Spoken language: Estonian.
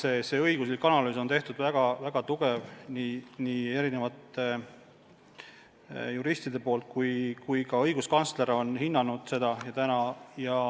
Eri juristide õiguslik analüüs on väga tugev ja ka õiguskantsler on eelnõu hinnanud.